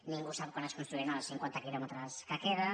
ningú sap quan es construiran els cinquanta quilòmetres que queden